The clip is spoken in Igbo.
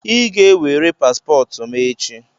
Ị ga-ewere paspọtụ m echi!